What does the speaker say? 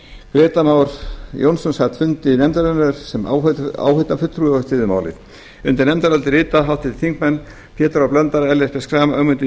grétar mar jónsson sat fund nefndarinnar sem áheyrnarfulltrúi og styður málið undir álitið rita háttvirtir þingmenn pétur h blöndal ellert b schram ögmundur